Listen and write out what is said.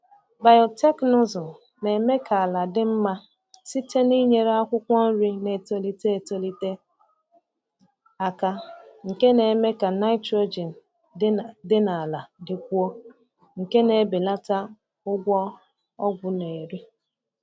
Biotekịnụzụ na-eme ka ala dị mma site n’inyere akwụkwọ nri na-etolite etolite aka nke na-eme ka nitrogen dị na ala dịkwuo, nke na-ebelata ụgwọ ọgwụ na-eri.